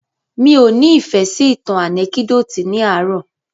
Mí ọ́ ni ìfẹ́ sí ìtàn ànẹ́kídòtì ní àárò.